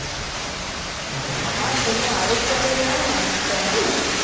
હું આવે ત્યારે ના નાખતા હો ને